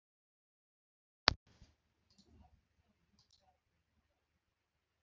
Jóhann: En af hverju var það ekki gert?